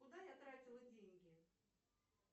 куда я тратила деньги